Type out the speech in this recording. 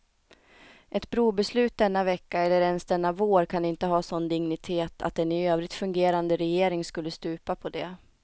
Ett brobeslut denna vecka eller ens denna vår kan inte ha sådan dignitet att en i övrigt fungerande regering skulle stupa på det.